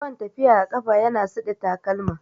Yawan tafiya a ƙafa ya na suɗe takalma